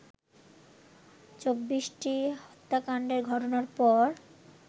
২৪টি হত্যাকাণ্ডের ঘটনার পর